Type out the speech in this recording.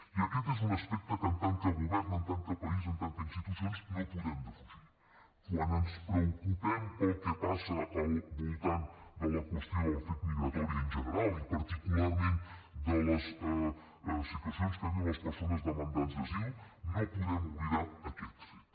i aquest és un aspecte que en tant que govern en tant que país en tant que institucions no podem defugir quan ens preocupem pel que passa al voltant de la qüestió del fet migratori en general i particularment de les situacions que viuen les persones demandants d’asil no podem oblidar aquest fet